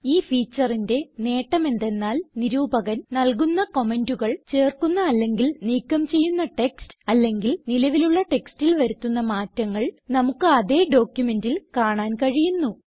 ഈ featureന്റെ നേട്ടം എന്തെന്നാൽ നിരൂപകൻ നല്കുന്ന കമന്റുകൾ ചേർക്കുന്ന അല്ലെങ്കിൽ നീക്കം ചെയ്യുന്ന ടെക്സ്റ്റ് അല്ലെങ്കിൽ നിലവിലുള്ള ടെക്സ്റ്റിൽ വരുത്തുന്ന മാറ്റങ്ങൾ നമുക്ക് അതേ ഡോക്യുമെന്റിൽ കാണാൻ കഴിയുന്നു